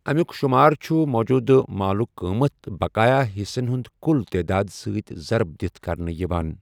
امیُک شُمار چھُ موٗجوٗدٕ مالُک قۭمَتھ بَقایہہ حصن ہنٛد کُل تعداد سۭتۍ ضَرٕب دِتھ کرنہٕ یِوان۔